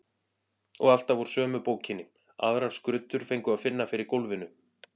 Og alltaf úr sömu bókinni, aðrar skruddur fengu að finna fyrir gólfinu.